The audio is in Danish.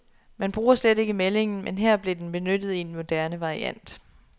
Man bruger slet ikke meldingen, men her blev den benyttet i en moderne variant.